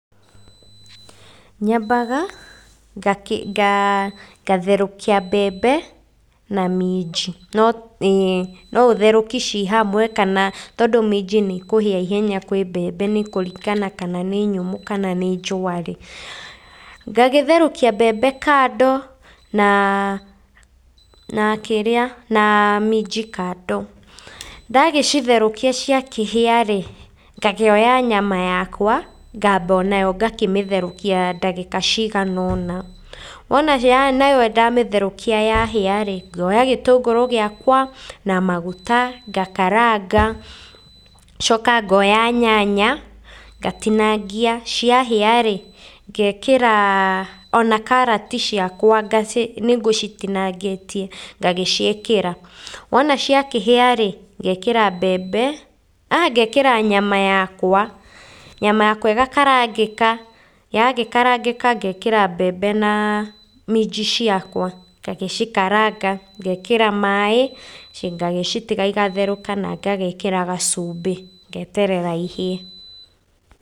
Nyambaga ngatherũkia mbembe na minji, no, ĩ, no ũtherũki ci hamwe kana, tondũ minji nĩ ikũhĩa ihenya kwĩ mbembe nĩ kũringana kana nĩ nyũmũ kana nĩ njũa rĩ, ngagĩtherũkia mbembe kando na na kĩrĩa na minji kando. Ndagĩcitherũkia cia kĩhĩa rĩ, ngakĩoya nyama yakwa ngamba o nayo ngakĩmĩtherũkia ndagĩka cigana ũna. Wona nayo ndamĩtherũkia yahĩa rĩ, ngoya gĩtũngũrũ gĩakwa na maguta, ngakaranga. Ngacoka ngoya nyanya, ngatinangia, ciahĩa rĩ, ngekĩra o na karati ciakwa, nĩ ngũcitinangĩtie, ngagĩciĩkĩra. Wona cia kĩhĩa rĩ, ngekĩra mbembe, aah, ngekĩra nyama yakwa. Nyama yakwa ĩgakarangĩka. Yagĩkarangĩka, ngekĩra mbembe na minji ciakwa, ngagĩcikaranga, ngekĩra maaĩ, ngagĩcitiga igatherũka na ngagĩkĩra gacumbĩ, ngeterera ihĩe.